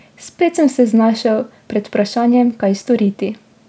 Spet sem se znašel pred vprašanjem, kaj storiti.